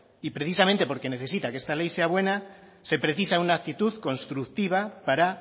y precisamente porque necesita que esta ley sea buena se precisa una actitud constructiva para